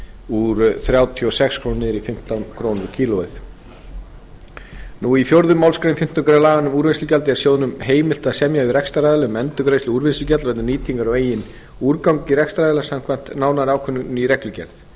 úr þrjátíu og sex krónum niður í fimmtán krónur kílóið fjórðu málsgrein fimmtándu grein laga um úrvinnslugjald er sjóðnum heimilt að semja við rekstraraðila um endurgreiðslu úrvinnslugjalds vegna nýtingar á eigin úrgangi rekstraraðila samkvæmt nánari ákvörðun í reglugerð